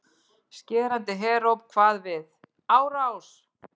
Skerandi heróp kvað við: ÁRÁS